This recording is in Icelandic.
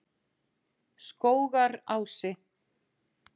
Skógarási